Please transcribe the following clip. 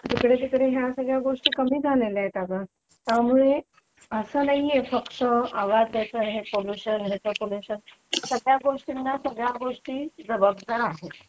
खेकडे तिकडे या सगळ्या गोष्टी कमी झाल्या आहेत अगं त्यामुळे असं नाहीये फक्त आवाजाचं पोल्युशन ह्याच पोल्युशन सगळ्या गोष्टींना सगळ्या गोष्टी जबाबदार आहेत